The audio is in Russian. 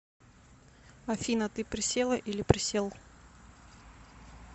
афина ты присела или присел